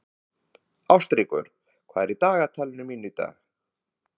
Ástríkur, hvað er á dagatalinu mínu í dag?